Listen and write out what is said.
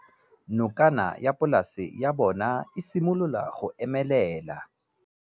Nokana ya polase ya bona, e simolola go omelela.